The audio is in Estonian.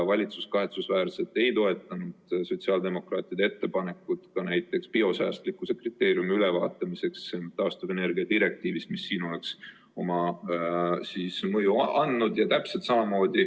Valitsus ei toetanud kahetsusväärselt sotsiaaldemokraatide ettepanekut näiteks biosäästlikkuse kriteeriumi ülevaatamiseks taastuvenergia direktiivis, mis siin oleks oma mõju andnud.